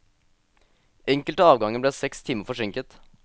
Enkelte avganger ble seks timer forsinket.